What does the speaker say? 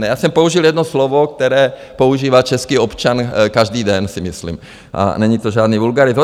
Ne, já jsem použil jedno slovo, které používá český občan každý den, si myslím a není to žádný vulgarismus.